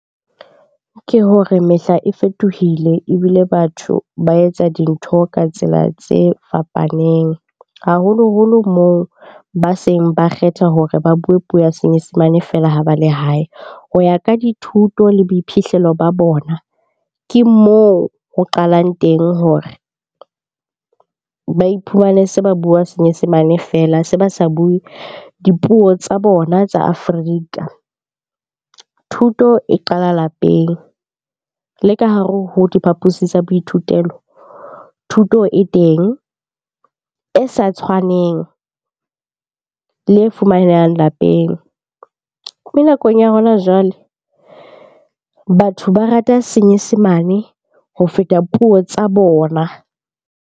Ke hore mehla e fetohile ebile batho ba etsa dintho ka tsela tse fapaneng, haholoholo moo ba seng ba kgetha hore ba bue puo ya senyesemane fela ha ba le hae. Ho ya ka dithuto le boiphihlelo ba bona, ke moo ho qalang teng hore ba iphumane se ba bua senyesemane fela. Se ba sa bue dipuo tsa bona tsa Afrika. Thuto e qala lapeng, le ka hare ho diphapusi tsa boithutelo thuto e teng e sa tshwaneng le e fumanehang lapeng. Mme nakong ya hona jwale batho ba rata senyesemane ho feta puo tsa bona.